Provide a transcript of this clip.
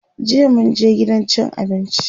jiya mun je gidan cin abinci